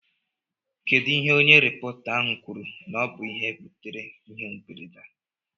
Kedụ ihe onye rịpọta ahụ kwuru na ọ bụ ihe butere ịhe mberede a?